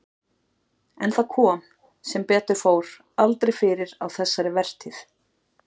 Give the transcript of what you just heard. En það kom, sem betur fór, aldrei fyrir á þessari vertíð.